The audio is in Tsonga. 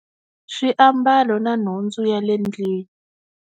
Swiambalo na nhundzu ya le ndlwini.